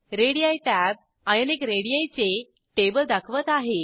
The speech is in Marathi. रेडी टॅब आयोनिक रेडी चे टेबल दाखवत आहेत